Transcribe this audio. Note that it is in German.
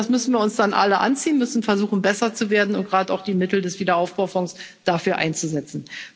Das müssen wir uns dann alle anziehen, müssen versuchen, besser zu werden und gerade auch die Mittel des Aufbaufonds dafür einzusetzen.